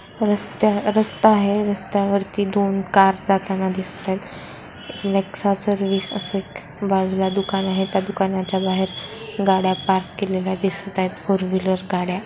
रस्त्या रस्ता आहे रस्त्यावरती दोन कार जाताना दिसतायत नेक्सा सर्विस असं बाजूला एक दुकान आहे त्या दुकानाच्या बाहेर गाड्या पार्क केलेले दिसत आहेत फोरव्हीलर गाड्या--